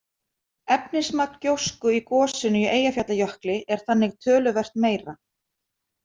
Efnismagn gjósku í gosinu í Eyjafjallajökli er þannig töluvert meira.